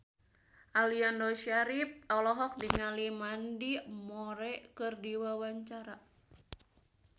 Aliando Syarif olohok ningali Mandy Moore keur diwawancara